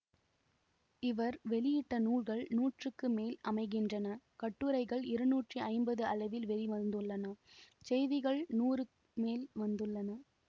இவர் வெளியிட்ட நூல்கள் நூற்றுக்கு மேல் அமைகின்றன கட்டுரைகள் இருநூற்றி ஐம்பது அளவில் வெளிவந்துள்ளனசெய்திகள் நூறு மேல் வந்துள்ளன